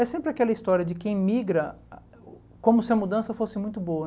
É sempre aquela história de quem migra, como se a mudança fosse muito boa.